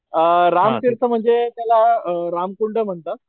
अ राम तीर्थ म्हणजे त्याला अ रामकुंड म्हणतात,